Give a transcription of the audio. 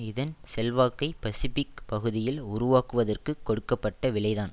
இதன் செல்வாக்கை பசிபிக் பகுதியில் உருவாக்குவதற்குக் கொடுக்க பட்ட விலைதான்